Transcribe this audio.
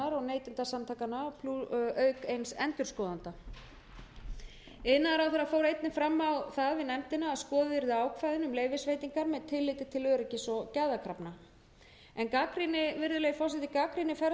neytendasamtakanna auk eins endurskoðanda iðnaðarráðherra fór einnig fram á það við nefndina að skoðuð yrðu ákvæðin um leyfisveitingar með tilliti til öryggis og gæðakrafna virðulegi forseti gagnrýni ferðaskrifstofa